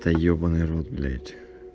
да ебанный в рот блять